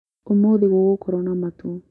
Ũmũthĩ gũgũkorwo na matu